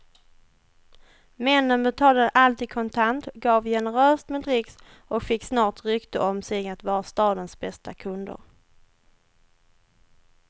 Männen betalade alltid kontant, gav generöst med dricks och fick snart rykte om sig att vara stadens bästa kunder.